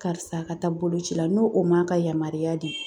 Karisa ka taa boloci la n'o o m'a ka yamaruya di